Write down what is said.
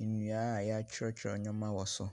nnua a w'atwerɛtwerɛ nnoɔma wɔ so.